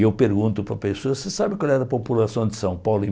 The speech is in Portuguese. E eu pergunto para a pessoa, você sabe qual era a população de São Paulo em